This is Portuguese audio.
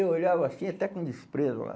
Eu olhava assim, até com desprezo.